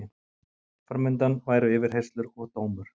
Fram undan væru yfirheyrslur og dómur.